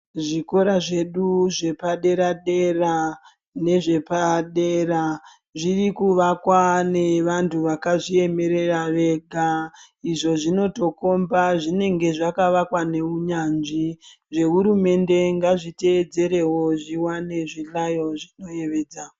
Zvikora zvedu zvepadera dera nezvepadera zviri kuvakwa nevantu vakazviemerera Vega izvi zvinotokomba zvinenge zvakavakwa nehunyanzvi zvehurumende ngazvitedzerewo zviwane zvihlayo zvinoyevedza.